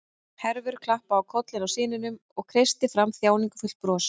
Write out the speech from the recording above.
Hervör klappaði á kollinn á syninum og kreisti fram þjáningarfullt bros.